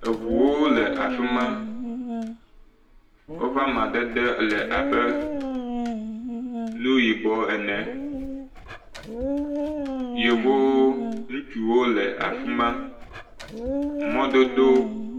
Ŋuwo le afi ma, woƒe amadede le abe nu yibɔ ene, yevowo ŋutsuwo le afi ma, mɔdodo…